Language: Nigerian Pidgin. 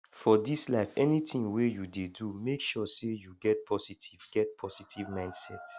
for dis life anytin wey yu dey do mek sure sey yu get positive get positive mindset